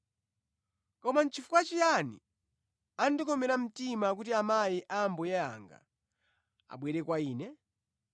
Koma nʼchifukwa chiyani andikomera mtima kuti amayi a Ambuye anga abwere kwa ine?